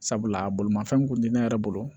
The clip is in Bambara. Sabula bolomafɛn kun ti ne yɛrɛ bolo